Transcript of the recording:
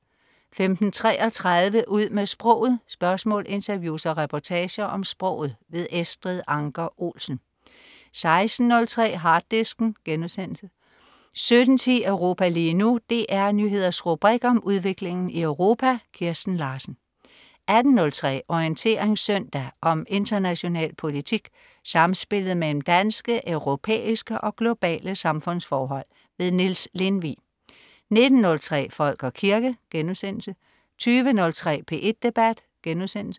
15.33 Ud med sproget. spørgsmål, interviews og reportager om sproget. Estrid Anker Olsen 16.03 Harddisken* 17.10 Europa lige nu. DR Nyheders rubrik om udviklingen i Europa. Kirsten Larsen 18.03 Orientering søndag. om international politik, samspillet mellem danske, europæiske og globale samfundsforhold. Niels Lindvig 19.03 Folk og kirke* 20.03 P1 Debat*